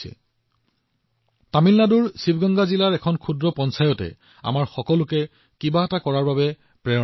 এতিয়া মোক কওঁক তামিলনাডুৰ শিৱগংগা জিলাৰ এখন সৰু পঞ্চায়তে আমাৰ সকলোকে কিবা এটা কৰিবলৈ অনুপ্ৰাণিত কৰে নে নকৰে